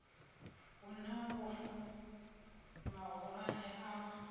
hu na lufu vhahulwane a